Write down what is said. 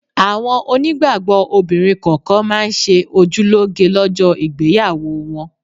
Àwọn onígbàgbọ́ obìnrin kọ̀ọ̀kan máa ń ṣe ojú lóge lọ́jọ́ ìgbéyàwó wọn